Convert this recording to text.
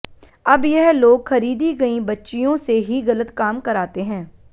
अब यह लोग खरीदी गईं बच्चियों से ही गलत काम कराते हैं